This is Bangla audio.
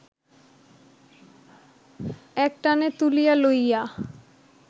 একটানে তুলিয়া লইয়া